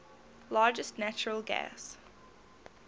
largest natural gas